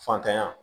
Fantanya